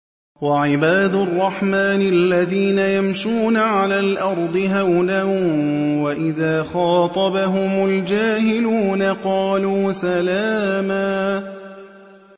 وَعِبَادُ الرَّحْمَٰنِ الَّذِينَ يَمْشُونَ عَلَى الْأَرْضِ هَوْنًا وَإِذَا خَاطَبَهُمُ الْجَاهِلُونَ قَالُوا سَلَامًا